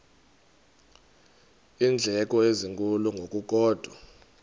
iindleko ezinkulu ngokukodwa